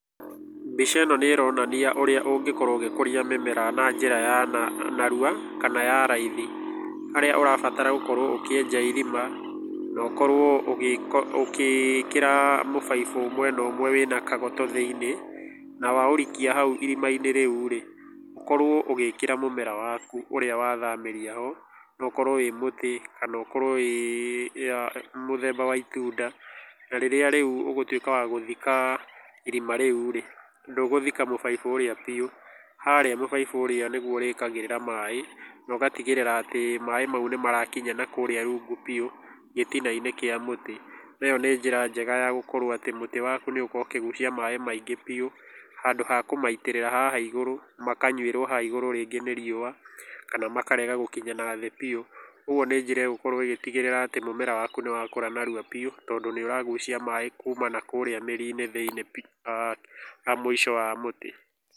Mbica ĩno nĩ ĩronania ũrĩa ũngĩkorũo ũgĩkũria mĩmera na njĩra ya narua kana ya raithi. Harĩa ũrabatara gũkorũo ũkĩenja irima na ũkorũo ũgĩkĩra mũbaibũ ũmwe na ũmwe wĩna kagoto thĩinĩ, na waũrikia haũ irima-inĩ rĩu rĩ, ũkorũo ũgĩĩkĩra mũmera waku ũrĩa wathamĩria ho, no ũkorũo wĩ mũtĩ kana ũkorũo mũthemba wa itunda, na rĩrĩa rĩu ũgũtuĩka wa gũthika irima rĩu rĩ, ndũgũthika mũbaibũ urĩa biũ, harĩa mũbaibũ ũrĩa nĩguo ũrĩĩkagĩra maĩ na ũgatigĩrĩra atĩ maĩ mau nĩ marakinya nakũrĩa rungu biũ gĩtinainĩ kĩa mũtĩ. Na ĩyo nĩ njĩra njega ya gũkorũo atĩ mũtĩ waku nĩ ũgũkorũo ũkĩgucia maĩ maingĩ biũ handũ ha kũmaitirĩria haha igũrũ makanyuĩrũo haha igũrũ rĩngĩ nĩ riũa, kana makarega gũkinya na thĩ biũ. Ũguo nĩ njĩra ĩgũkorũo ĩgĩtigĩrĩra atĩ mũmera waku nĩ wakũra narua biũ tondũ nĩ ũragucia maĩ kuuma nakũrĩa mĩri-inĩ thĩini mũico wa mũti.